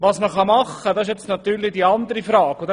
Was man tun kann, ist eine andere Frage.